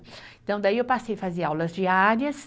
Então, daí eu passei fazer aulas diárias,